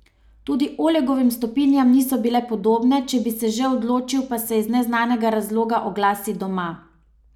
Tudi Olegovim stopinjam niso bile podobne, če bi se že odločil, da se iz neznanega razloga oglasi doma.